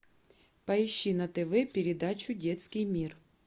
поищи на тв передачу детский мир